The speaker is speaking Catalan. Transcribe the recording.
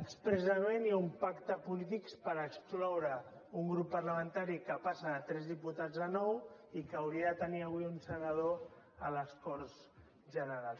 expressament hi ha un pacte polític per excloure un grup parlamentari que passa de tres diputats a nou i que hauria de tenir avui un senador a les corts generals